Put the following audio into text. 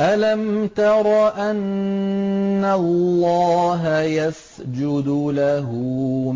أَلَمْ تَرَ أَنَّ اللَّهَ يَسْجُدُ لَهُ